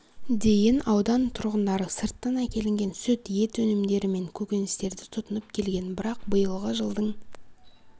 дейін аудан тұрғындары сырттан әкелінген сүт ет өнімдері мен көкөністерді тұтынып келген бірақ биылғы жылдың